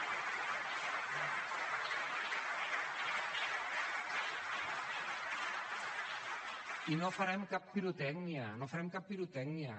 i no farem cap pirotècnia no farem cap pirotècnia